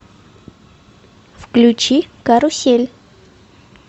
включи карусель